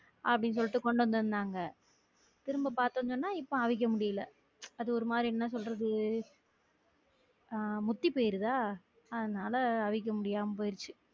அப்படி சொல்லிட்டு கொண்டு வந்து இருந்தாங்க திரும்ப பார்த்திங்கனா இப்ப அவிக்க முடியல அது ஒரு மாதிரி என்ன சொல்றது அஹ் முத்தி போயிருதா அதுனால அவிக்க முடியாம போயிருச்சு